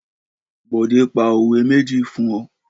Bọ̀dé pa òwe méjì fún ọ?